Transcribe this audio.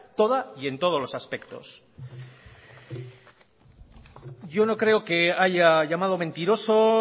toda y en todos los aspectos yo no creo que haya llamado mentiroso